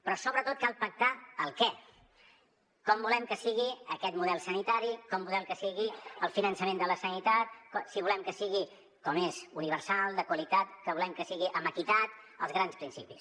però sobretot cal pactar el què com volem que sigui aquest model sanitari com volem que sigui el finançament de la sanitat si volem que sigui com ho és universal de qualitat que volem que sigui amb equitat els grans principis